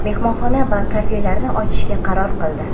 mehmonxona va kafelarni ochishga qaror qildi.